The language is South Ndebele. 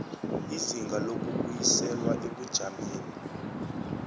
izinga lokubuyiselwa ebujameni